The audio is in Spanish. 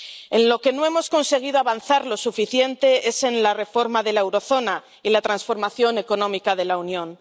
En lo que no hemos conseguido avanzar lo suficiente es en la reforma de la zona del euro y la transformación económica de la Unión.